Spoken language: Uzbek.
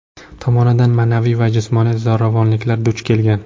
tomonidan ma’naviy va jismoniy zo‘ravonliklarga duch kelgan.